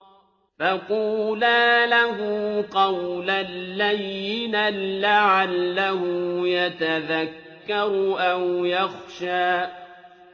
فَقُولَا لَهُ قَوْلًا لَّيِّنًا لَّعَلَّهُ يَتَذَكَّرُ أَوْ يَخْشَىٰ